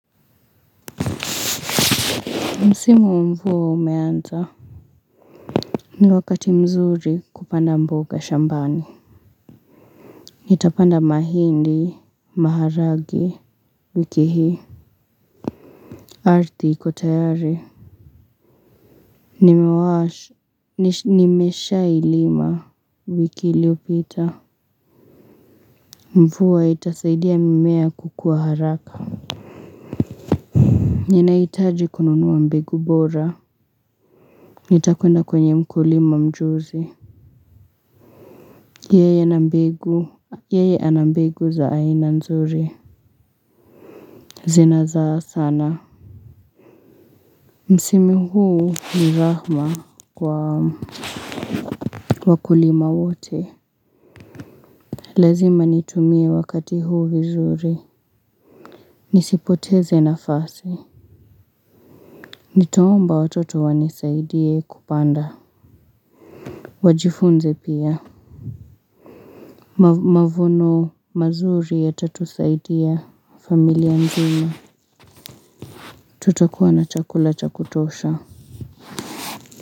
Msimu mvua umeanza. Ni wakati mzuri kupanda mboga shambani. Nitapanda mahindi maharagwe wiki hii. Ardhi iko tayari. Nimeshailima wiki liopita. Mvua itasaidia mimea kukuwa haraka. Ninahitaji kununua mbegu bora. Nitakwenda kwenye mkulima mjuzi yeye ana mbegu ya aina nzuri zinazaa sana msimu huu ni rahma kwa wakulima wote lazima nitumie wakati huu vizuri nisipoteze nafasi nitaomba watoto wanisaidie kupanda wajifunze pia mavuno mazuri yatatusaidia familia nzima tutakuwa na chakula cha kutosha.